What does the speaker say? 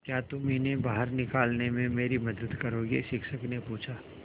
क्या तुम इन्हें बाहर निकालने में मेरी मदद करोगे शिक्षक ने पूछा